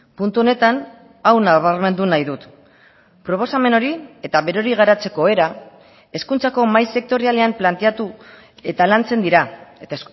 puntu honetan hau nabarmendu nahi dut proposamen hori eta berori garatzeko era hezkuntzako mahai sektorialean planteatu eta lantzen dira eta